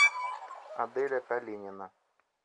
аделя калинина